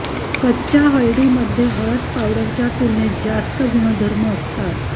कच्च्या हळदीमध्ये हळद पावडरच्या तुलनेत जास्त गुणधर्म असतात